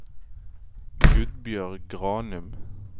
Gudbjørg Granum